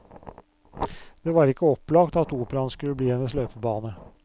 Det var ikke opplagt at operaen skulle bli hennes løpebane.